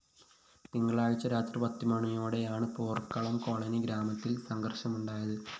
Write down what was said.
തിങ്കളാഴ്ച രാത്രി പത്തുമണിയോടെയാണ് പോര്‍ക്കുളം കോളനി ഗ്രാമത്തില്‍ സംഘര്‍ഷമുണ്ടായത്